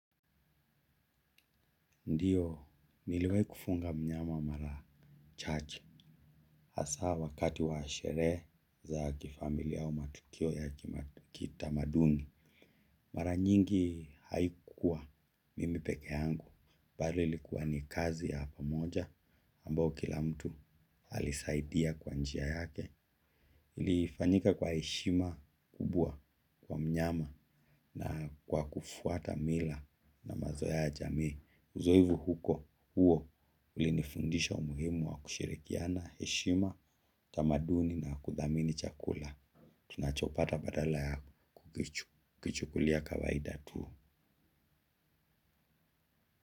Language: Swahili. Ndio niliwahi kufunga mnyama mara chache hasa wakati wa sherehe za kifamilia au matukio ya kitamaduni. Mara nyingi haikua mimi peke yangu, bali ilikuwa ni kazi ya pamoja, ambayo kila mtu alisaidia kwa njia yake. Ilifanyika kwa heshima kubwa kwa mnyama na kwa kufwata mila na mazoea ya jamii. Uzoevu huko, huo, ulinifundisha umuhimu wa kushirikiana, heshima, tamaduni na kudhamini chakula. Ninachopata badala ya kichwa kukichukulia kawaida tu.